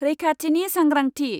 रैखाथिनि सांग्रांथि